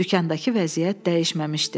Dükandakı vəziyyət dəyişməmişdi.